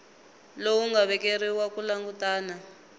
lowu nga vekeriwa ku langutana